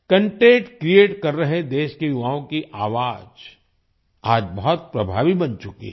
content create कर रहे देश के युवाओं की आवाज आज बहुत प्रभावी बन चुकी है